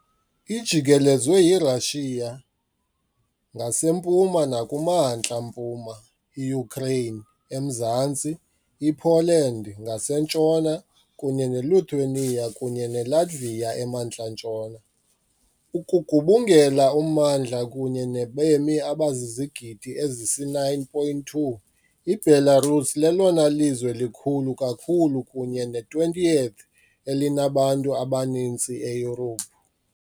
Ijikelezwe yiRussia ngasempuma nakumantla-mpuma, iUkraine emazantsi, iPoland ngasentshona, kunye neLithuania kunye neLatvia emantla-ntshona. Ukugubungela ummandla kunye nabemi abazizigidi ezisisi-9.2, iBelarus lelona lizwe likhulu kakhulu kunye ne- 20th-elinabantu abaninzi eYurophu.